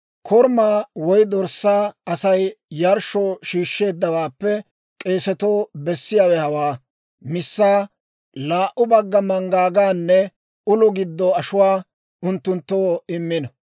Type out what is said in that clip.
«Korumaa woy dorssaa Asay yarshshoo shiishsheeddawaappe k'eesatoo bessiyaawe hawaa: missaa, laa"u bagga gogonc'c'uwaanne uluwaa giddo ashuwaa unttunttoo immino.